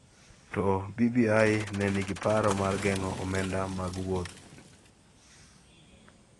To BBI ne nigi paro mar geng�o omenda mag Wuod